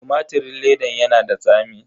Tumatirin ledan yana da tsami.